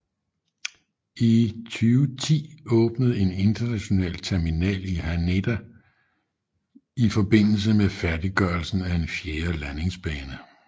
I 2010 åbnede en international terminal i Haneda i forbindelse med færdiggørelsen af en fjerde landingsbane